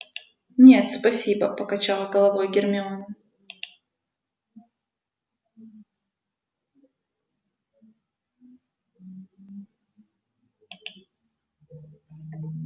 нет спасибо покачала головой гермиона